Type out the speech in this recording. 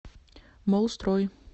моллстрой